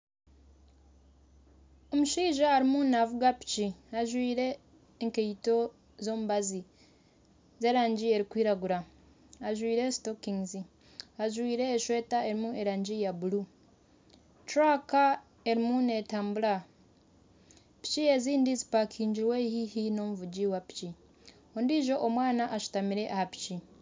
Omushaija arimu navuga piki ajwire enkaito z'omubazi z'erangi erikwiragura ajwire sitokingizi , ajwire eshweta erimu erangi ya buuru . Turaka erimu netambura , piki ezindi zipakingirwe haihi n'omuvugi wa piki ondijo omwana ashutamire aha piki.